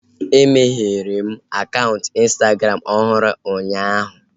E meghere m akaụntụ ịnstagram ọhụrụ ụnyaahụ